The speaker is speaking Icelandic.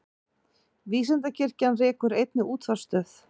Vísindakirkjan rekur einnig útvarpsstöð.